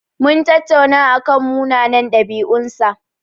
Mun tattauna akan munanan ɗabi'un sa.